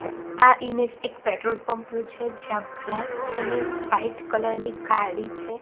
આ ઇમેજ એક petrol pump નુ છે જ્યાં બ્લેક અને વ્હાઇટ કલર ની ગાડી છે.